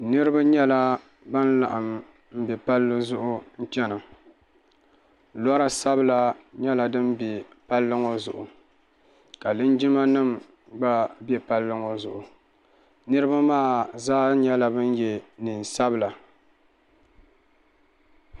paɣ' ayi n ʒɛya ŋɔ be tura la sakolu tuli bɛ bi tooni kabituri sakolu ka nuli bɛ tahilini ka noon sabilinli bɛ tooni ka bi so ŋɔ nyɛ bu tankpaɣigu lo o bɛ sunsuuni ka bu sabilinli bɛ nyɛŋa